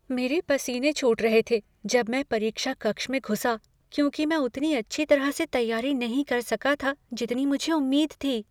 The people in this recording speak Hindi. मेरे पसीने छूट रहे थे जब मैं परीक्षा कक्ष में घुसा क्योंकि मैं उतनी अच्छी तरह से तैयारी नहीं कर सका था जितनी मुझे उम्मीद थी।